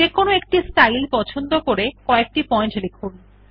যেকোনো একটি স্টাইল পছন্দ করে কএকটি পয়েন্ট লিখুন